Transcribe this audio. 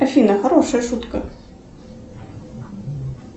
афина хорошая шутка